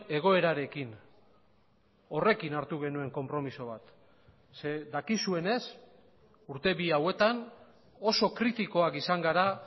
egoerarekin horrekin hartu genuen konpromiso bat ze dakizuenez urte bi hauetan oso kritikoak izan gara